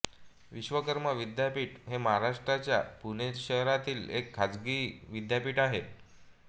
विश्वकर्मा विद्यापीठ हे महाराष्ट्राच्या पुणे शहरातील एक खाजगी विद्यापीठ आहे